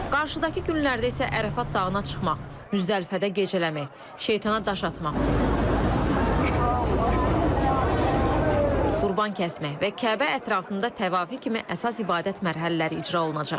Qarşıdakı günlərdə isə Ərəfat dağına çıxmaq, Müzdəlifədə gecələmə, Şeytana daş atmaq, Qurban kəsmək və Kəbə ətrafında təvaf etmək kimi əsas ibadət mərhələləri icra olunacaq.